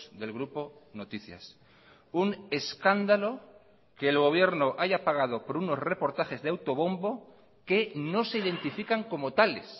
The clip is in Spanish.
del grupo noticias un escándalo que el gobierno haya pagado por unos reportajes de autobombo que no se identifican como tales